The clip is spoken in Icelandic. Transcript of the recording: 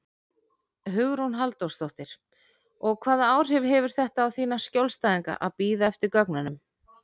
Hugrún Halldórsdóttir: Og hvaða áhrif hefur þetta á þína skjólstæðinga að bíða eftir gögnunum?